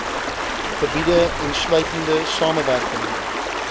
gebiede insluitende samewerking